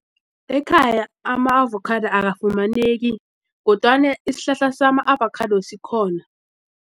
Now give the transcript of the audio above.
Ekhaya ama-avocado akafumaneki kodwana isihlahla sama-avocado sikhona.